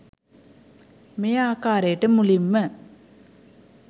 මේ ආකාරයට මුලින්ම